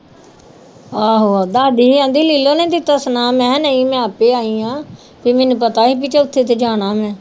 ਆਹੋ ਦੱਸਦੀ ਸੀ ਕਹਿੰਦੀ ਲੀਲੋ ਨੇ ਦਿੱਤਾ ਸੁਨੇਹਾਂ ਮੈਂ ਕਿਹਾ ਨਹੀਂ ਮੈਂ ਆਪੇ ਆਈ ਹਾਂ ਵੀ ਮੈਨੂੰ ਪਤਾ ਸੀ ਵੀ ਚੌਥੇ ਤੇ ਜਾਣਾ ਮੈਂ